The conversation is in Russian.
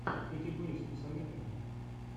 кэти бейтс посоветуй мне